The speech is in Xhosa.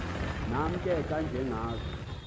nam ke kwanjengazo